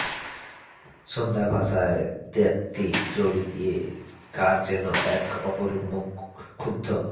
সান্ধ্যভাষার দীপ্তি জড়িয়ে কার যেন এক অপরূপ মুখ ক্ষুব্ধ